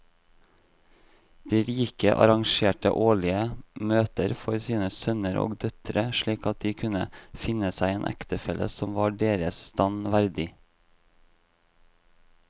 De rike arrangerte årlige møter for sine sønner og døtre slik at de kunne finne seg en ektefelle som var deres stand verdig.